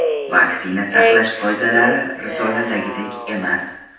Vaksina saqlash qoidalari risoladagidek emas.